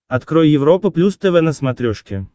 открой европа плюс тв на смотрешке